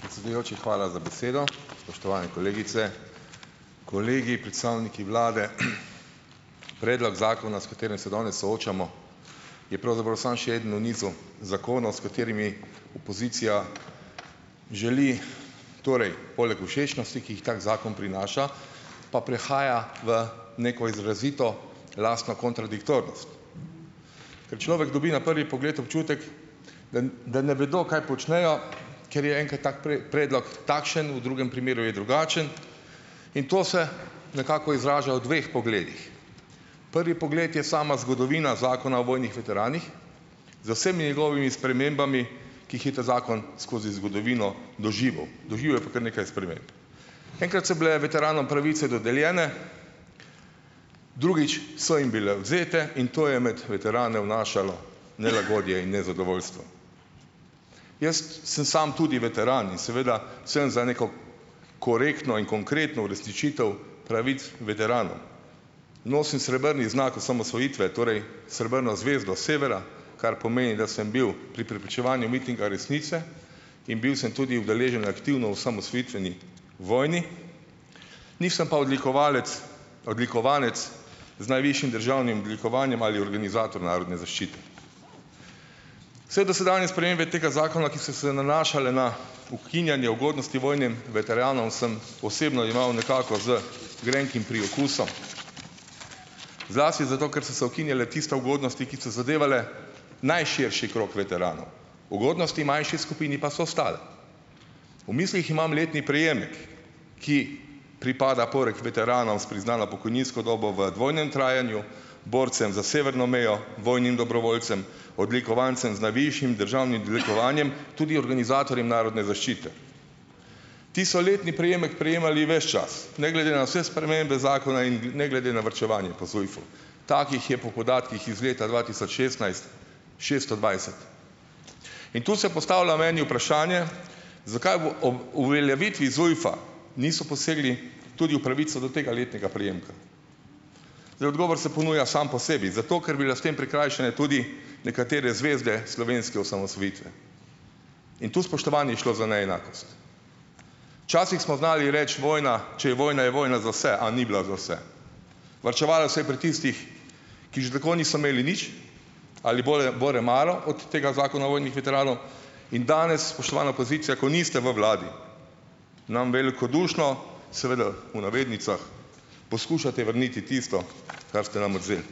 Predsedujoči, hvala za besedo! Spoštovani kolegice, kolegi, predstavniki vlade! Predlog zakona, s katerim se danes soočamo, je pravzaprav samo še eden v nizu zakonov, s katerimi opozicija želi, torej, poleg všečnosti, ki jih tak zakon prinaša, pa prehaja v neko izrazito lastno kontradiktornost - ker človek dobi na prvi pogled občutek, da da ne vedo, kaj počnejo, ker je enkrat tak predlog takšen, v drugem primeru je drugačen, in to se nekako izraža v dveh pogledih. Prvi pogled je sama zgodovina Zakona o vojnih veteranih, z vsemi njegovimi spremembami, ki jih je ta zakon skozi zgodovino doživel - doživel je pa kar nekaj sprememb. Enkrat so bile veteranom pravice dodeljene, drugič so jim bile odvzete in to je med veterane vnašalo nelagodje in nezadovoljstvo. Jaz sem samo tudi veteran in seveda sem za neko korektno in konkretno uresničitev pravic veteranov. Nosim srebrni znak osamosvojitve, torej srebrno zvezdo severa, kar pomeni, da sem bil pri preprečevanju mitinga resnice in bil sem tudi udeležen aktivno v osamosvojitveni vojni, nisem pa odlikovalec, odlikovanec z najvišjim državnim odlikovanjem ali organizator narodne zaščite. Vse dosedanje spremembe tega zakona, ki so se nanašale na ukinjanje ugodnosti vojnim veteranom, sem osebno jemal nekako z grenkim priokusom, zlasti zato, ker so se ukinjale tiste ugodnosti, ki so zadevale najširši krog veteranov, ugodnosti manjši skupini pa so ostale. V mislih imam letni prejemek, ki pripada poleg veteranov s priznano pokojninsko dobo v dvojnem trajanju borcem za severno mejo, vojnim dobrovoljcem, odlikovancem z najvišjim državnim odlikovanjem, tudi organizatorjem narodne zaščite. Ti so letni prejemek prejemali ves čas, ne glede na vse spremembe zakona in ne glede na varčevanje po ZUJF-u. Takih je po podatkih iz leta dva tisoč šestnajst šesto dvajset in tu se postavlja meni vprašanje, zakaj ob ob uveljavitvi ZUJF-a niso posegli tudi v pravico do tega letnega prejemka? Zdaj, odgovor se ponuja sam po sebi, zato, ker bi bile s tem prikrajšane tudi nekatere zvezde slovenske osamosvojitve in tu, spoštovani, je šlo za neenakost. Včasih smo znali reči, vojna, če je vojna, je vojna za vse, a ni bila za vse. Varčevalo se je pri tistih, ki že tako niso imeli nič, ali bolj bore malo, od tega Zakona o vojnih veteranih, in danes, spoštovana opozicija, ko niste v vladi, nam velikodušno, seveda, v navednicah, poskušate vrniti tisto, kar ste nam odvzeli.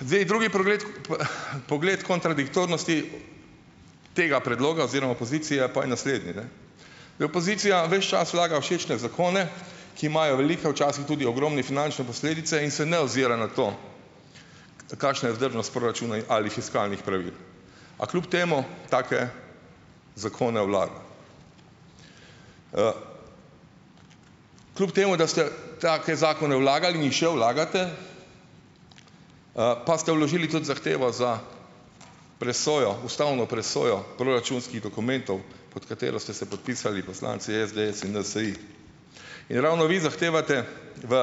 Zdaj, drugi pogled kontradiktornosti tega predloga oziroma opozicije pa je naslednji, ne, je opozicija ves čas vlaga všečne zakone, ki imajo velike, včasih tudi ogromne, finančne posledice, in se ne ozira na to, kakšna je vzdržnost proračuna ali fiskalnih pravil, a kljub temu take zakone vlaga. Kljub temu da ste take zakone vlagali in še vlagate, pa ste vložili tudi zahtevo za presojo ustavno presojo proračunskih dokumentov, pod katero ste se podpisali poslanci SDS in NSi. In ravno vi zahtevate v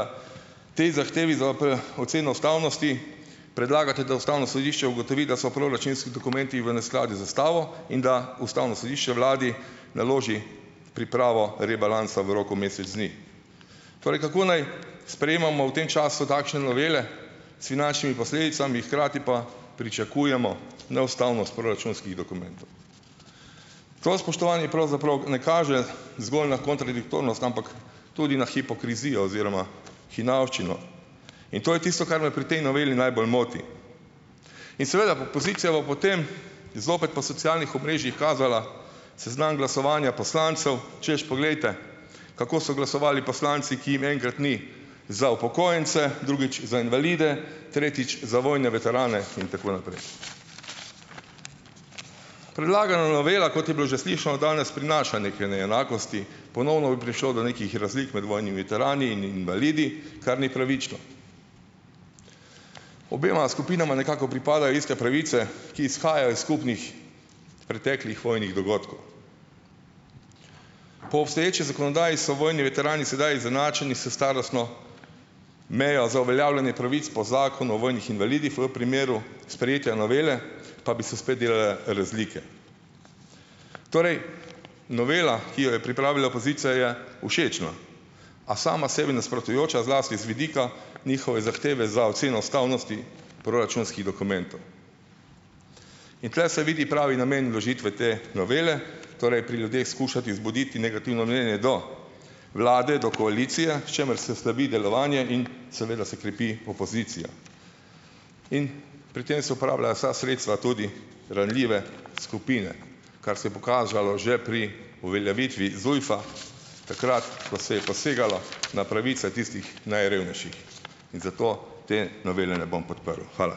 tej zahtevi za oceno ustavnosti, predlagate, da ustavno sodišče ugotovi, da so proračunski dokumenti v neskladju z ustavo in da ustavno sodišče vladi naloži pripravo rebalansa v roku mesec dni. Torej, kako naj sprejemamo v tem času takšne novele s finančnimi posledicami, hkrati pa pričakujemo neustavnost proračunskih dokumentov? To, spoštovani, pravzaprav ne kaže zgolj na kontradiktornost, ampak tudi na hipokrizijo oziroma hinavščino in to je tisto, kar me pri tej noveli najbolj moti. In seveda opozicija bo potem zopet po socialnih omrežjih kazala seznam glasovanja poslancev, češ, poglejte, kako so glasovali poslanci, ki jim enkrat ni za upokojence, drugič za invalide, tretjič za vojne veterane in tako naprej. Predlagana novela, kot je bilo že slišano danes, prinaša neke neenakosti. Ponovno bi prišlo do nekih razlik med vojnimi veterani in invalidi, kar ni pravično. Obema skupinama nekako pripadajo iste pravice, ki izhajajo iz skupnih preteklih vojnih dogodkov. Po obstoječi zakonodaji so vojni veterani sedaj izenačeni s starostno mejo za uveljavljanje pravic po Zakonu o vojnih invalidih, v primeru sprejetja novele pa bi se spet delale razlike. Torej, novela, ki jo je pripravila opozicija, je všečna, a sama sebi nasprotujoča, zlasti z vidika njihove zahteve za oceno ustavnosti proračunskih dokumentov. In tule se vidi pravi namen vložitve te novele, torej pri ljudeh skušati vzbuditi negativno mnenje do vlade, do koalicije, s čimer se slabi delovanje in seveda se krepi opozicija. In pri tem se uporabljajo vsa sredstva, tudi ranljive skupine, kar se je pokazalo že pri uveljavitvi ZUJF-a, takrat ko se je posegalo na pravice tistih najrevnejših in zato te novele ne bom podprl. Hvala.